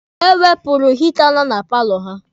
Ha wepụrụ hita nọ na paalọ ha.